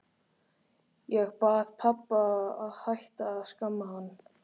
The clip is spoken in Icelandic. Ég bað pabba að hætta að skamma hann.